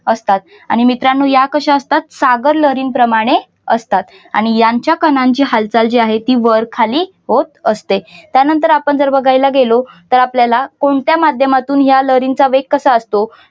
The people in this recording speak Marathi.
असतात मित्रांनो या कशा असतात सागर लहरीप्रमाणे असतात आणि यांच्या कणांच्या हालचाल जी आहे ती वर खाली होत असते. त्यानंतर आपण जर बघायला गेलो तर आपल्याला कोणत्या माध्यमातून या लहरींचा वेग कसा असतो.